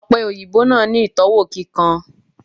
Òpe òyìnbó náà ni itọwo kíkan